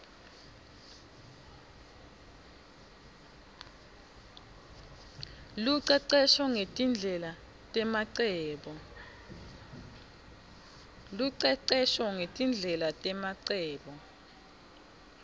lucecesho ngetindlela nemacebo